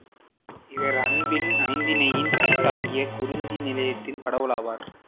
இவர் அன்பின் ஐந்திணையில் தலையாயதாகிய குறிஞ்சி நிலத்தின் கடவுள் ஆவார்